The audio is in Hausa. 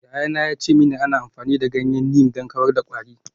Yayana ya ce mini ana amfani da ganyen neem don kawar da kwari.